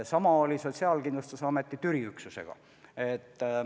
Sama oli Sotsiaalkindlustusameti Türi üksusega.